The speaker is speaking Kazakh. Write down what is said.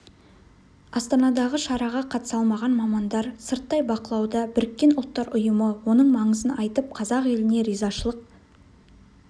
астанадағы шараға қатыса алмаған мамандар сырттай бақылауда біріккен ұлттар ұйымы оның маңызын айтып қазақ еліне ризашылық